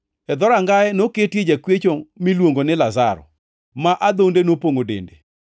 E dhorangaye noketie jakwecho miluongoni Lazaro, ma adhonde nopongʼo dende